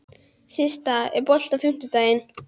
Systa, er bolti á fimmtudaginn?